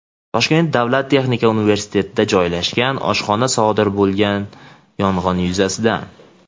Toshkent davlat texnika universitetida joylashgan oshxonada sodir bo‘lgan yong‘in yuzasidan.